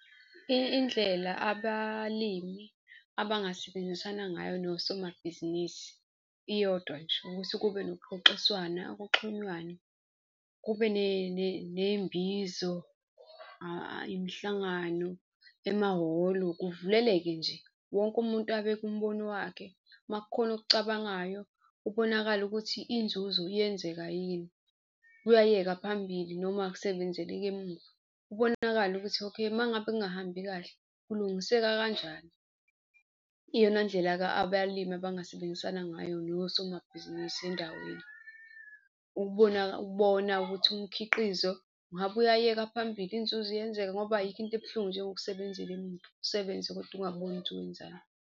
Indlela abalimi abangasebenzisana ngayo nosomabhizinisi iyodwa nje, ukuthi kube nokuxoxiswana kuxhunywane kube ney'mbizo, imihlangano emahholo kuvuleleke nje wonke umuntu abeke umbono wakhe. Uma kukhona okucabangayo kubonakale ukuthi inzuzo iyenzeka yini, kuyayeka phambili noma kusebenzeleka emuva. Kubonakale ukuthi okay, uma ngabe kungahambi kahle, kulungiseka kanjani. Iyona ndlela-ke abalimi abangasebenzisana ngayo nosomabhizinisi endaweni, ukubona ukubona ukuthi umkhiqizo ingabe uyayeka phambili, inzuzo iyenzeka ngoba ayikho into ebuhlungu njengokusebenzela emuva, usebenze kodwa ungaboni ukuthi wenzani.